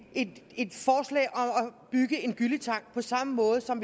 bygge en gylletank på samme måde som